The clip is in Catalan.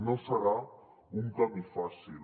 no serà un camí fàcil